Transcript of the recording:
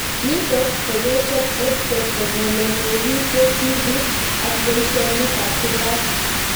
Nitok ko kechop EdTech eng' ole neg'itee tipik ak poishonik ab kurg'at